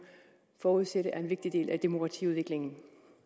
forudsætte er en vigtig del af demokratiudviklingen